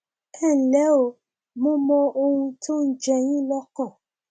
ẹ ǹlẹ o mo mọ ohun tó ń jẹ yín lọkàn